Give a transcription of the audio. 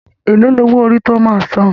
Ẹ̀ló ní owó orí tí o máa a san?